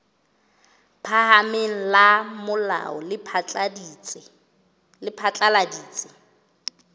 phahameng la molao le phatlaladitse